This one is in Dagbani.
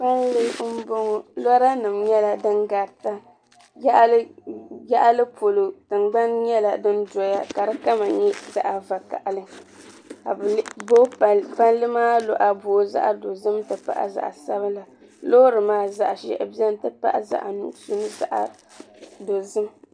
Palli m-bɔŋɔ loranima nyɛla din garita yaɣili polo tingbani nyɛla din doya ka di kama nyɛ zaɣ'vakahili ka palli luɣa booi zaɣ'dozim ti pahi zaɣ'sabila loori maa zaɣ'ʒɛhi beni zaɣ'nuɣuso ni zaɣ'dozim.